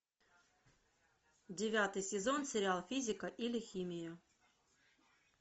девятый сезон сериал физика или химия